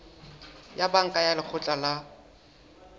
ya banka ya lekgotla la